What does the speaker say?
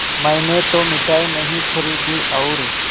मैंने तो मिठाई नहीं खरीदी और